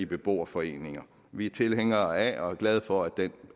beboerforeninger vi er tilhængere af og er glade for at det